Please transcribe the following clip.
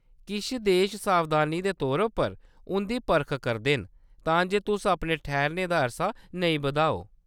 किश देश सावधानी दे तौर पर उंʼदी परख करदे न तां जे तुस अपने ठैह्‌रने दा अरसा नेईं बधाओ।